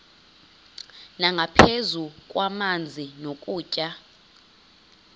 nangaphezu kwamanzi nokutya